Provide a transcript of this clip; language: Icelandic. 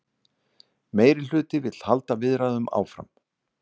Meirihluti vill halda viðræðum áfram